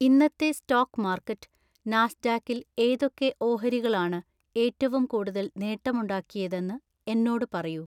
ഇന്നത്തെ stock market നാസ്ഡാക്കിൽ ഏതൊക്കെ ഓഹരികളാണ് ഏറ്റവും കൂടുതൽ നേട്ടമുണ്ടാക്കിയതെന്ന് എന്നോട് പറയൂ